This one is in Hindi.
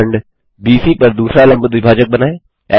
वृत्तखंड बीसी पर दूसरा लम्ब द्विभाजक बनाएँ